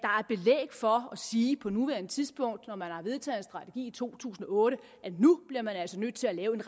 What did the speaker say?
sige på nuværende tidspunkt når man har vedtaget en strategi i to tusind og otte at nu bliver man altså nødt til at lave en